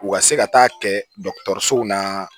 U ka se ka taa kɛ dɔgɔtɔrɔsow la